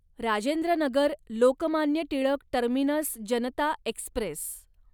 Rajendra Nagar Lokmanya Tilak terminus Janata Express